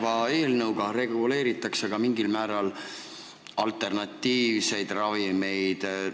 Kas eelnõuga reguleeritakse mingil määral ka alternatiivseid ravimeid?